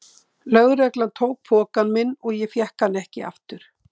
Lögreglan tók pokann minn og ég fékk hann ekki aftur.